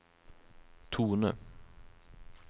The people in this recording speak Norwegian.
tone